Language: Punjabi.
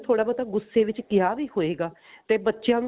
ਥੋੜਾ ਬਹੁਤਾ ਗੁੱਸੇ ਵਿੱਚ ਕਿਹਾ ਵੀ ਹੋਏਗਾ ਤੇ ਬੱਚਿਆਂ ਨੂੰ